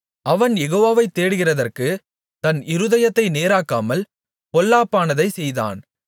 அவன் யெகோவாவை தேடுகிறதற்குத் தன் இருதயத்தை நேராக்காமல் பொல்லாப்பானதைச் செய்தான்